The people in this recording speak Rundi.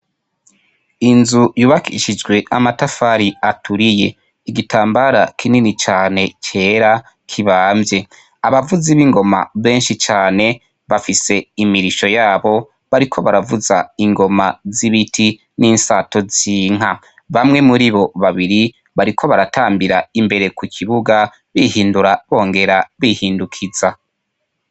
Inzu yubakishijwe amatafari aturiye, igitambara kinini cyane cera kibamvye, abavuzi b'ingoma benshi cane bafise imirisho yabo bariko baravuza ingoma z'ibiti n'insato z'inka, bamwe muri bo babiri bariko baratambira imbere ku kibuga bihindura bongera bihindukiza.